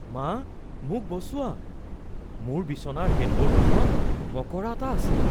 মা, মোক বচোৱা! মোৰ বিচনাৰ হেডবৰ্ডখনত মকৰা এটা আছে!